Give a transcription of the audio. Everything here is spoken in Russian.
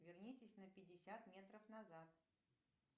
вернитесь на пятьдесят метров назад